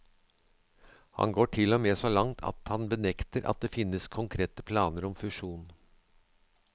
Han går til og med så langt at han benekter at det finnes konkrete planer om fusjon.